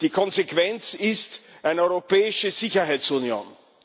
Die Konsequenz ist eine europäische Sicherheitsunion.